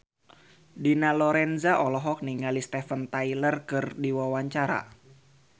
Dina Lorenza olohok ningali Steven Tyler keur diwawancara